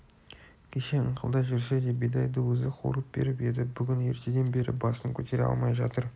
кеше ыңқылдай жүрсе де бидайды өзі қуырып беріп еді бүгін ертеден бері басын көтере алмай жатыр